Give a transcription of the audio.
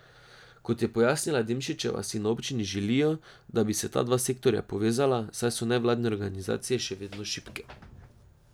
Kot je pojasnila Demšičeva, si na občini želijo, da bi se ta dva sektorja povezala, saj so nevladne organizacije še vedno šibke.